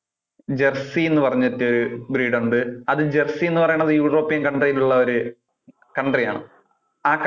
jersey എന്ന് പറഞ്ഞിട്ട് breed ഉണ്ട്. അത് jersey എന്ന് പറയുന്നത് european country ഉള്ള ഒരു country ആണ്. ആ country ഉള്ള.